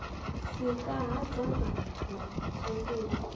sika ha dzangano na tshanduko